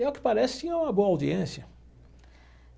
E, ao que parece, tinha uma boa audiência.